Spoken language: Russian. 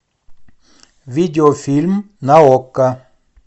видеофильм на окко